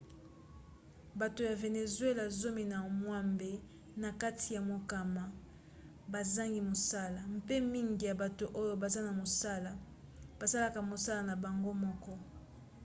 bato ya vénézuéla zomi na mwambe na kati ya mokama bazangi mosala mpe mingi ya bato oyo baza na mosala basalaka mosala na bango moko